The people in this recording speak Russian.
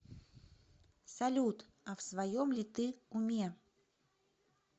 салют а в своем ли ты уме